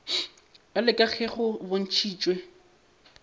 bjalo ka ge go bontšhitšwe